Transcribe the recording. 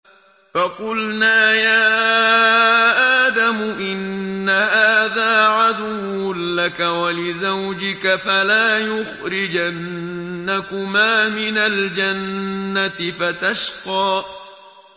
فَقُلْنَا يَا آدَمُ إِنَّ هَٰذَا عَدُوٌّ لَّكَ وَلِزَوْجِكَ فَلَا يُخْرِجَنَّكُمَا مِنَ الْجَنَّةِ فَتَشْقَىٰ